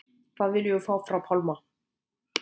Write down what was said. Hvað viljum við fá frá Pálma?